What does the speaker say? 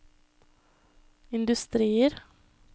industrier